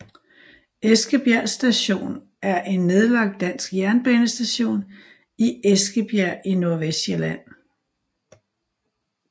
Eskebjerg Station er en nedlagt dansk jernbanestation i Eskebjerg i Nordvestsjælland